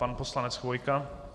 Pan poslanec Chvojka?